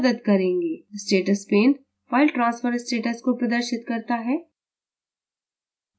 status pane file transfer status को प्रदर्शित करता है